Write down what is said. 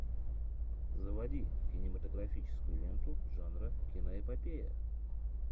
заводи кинематографическую ленту жанра киноэпопея